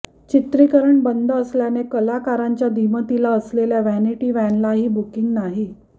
चित्रीकरण बंद असल्याने कलाकारांच्या दिमतीला असलेल्या वॅनिटी वॅनलाही बुकींग नाही